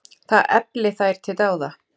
Það efli þær til dáða.